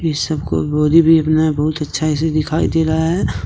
इस सबको बॉडी भी बना है बहुत अच्छा से दिखाई दे रहा है।